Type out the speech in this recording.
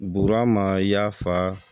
Bubama y'a fa